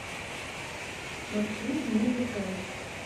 маршрут мегахенд